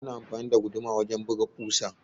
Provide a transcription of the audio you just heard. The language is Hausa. Ana amfani da guduma wurin buga ƙusa